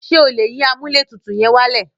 Ṣé o lè yín amúlẹ̀tutù yẹn wálẹ̀?